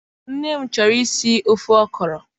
Nne m chọrọ isi ofe Okro